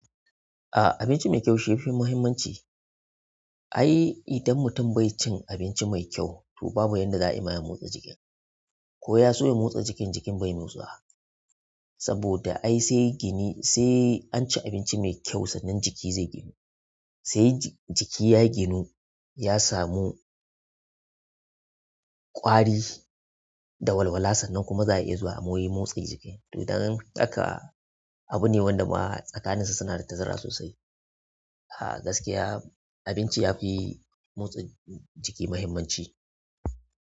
A abinci mai kyau shi yafi muhimmanci. Ai idan mutum bai cin abinci mai kyau to babu yadda za a yi ma ya motsa jiki ko ya so ya motsa jikin jikin bai mai tsuwa saboda ai sai gini sai an ci abinci mai kyau sannan jiki zai ginu. Sai jiki ya ginu ya samu ƙwari da walwala sannan kuma za a iya zuwa mu yi motsin jiki. To dan haka abu ne wanda tsakanin su suna da tazara sosai. A gaskiya abinci yafi motsin jiki muhimmanci.